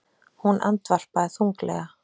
Hún andvarpaði þunglega.